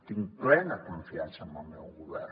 tinc plena confiança en el meu govern